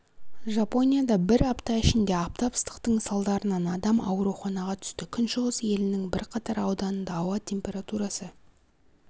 жапонияда бір апта ішінде аптап ыстықтың салдарынан адам ауруханаға түсті күншығыс елінің бірқатар ауданында ауа температурасы